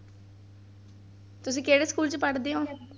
ਤੁਸੀਂ ਕਿਹੜੇ ਸਕੂਲ ਚ ਪੜ੍ਹਦੇ ਹੋ?